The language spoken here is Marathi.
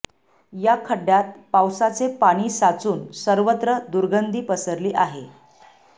या खड्डय़ांत पावसाचे पाणी साचून सर्वत्र दरुगधी पसरली आहे